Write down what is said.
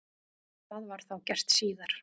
Það var þá gert síðar.